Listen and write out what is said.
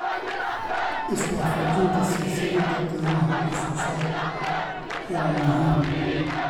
Iswaafajinta silsiladda qiimaha wax soo saarku waa muhiim.